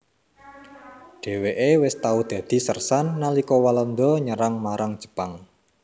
Dhèwèké wis tau dadi sérsan nalika Walanda nyerah marang Jepang